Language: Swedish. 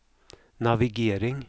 navigering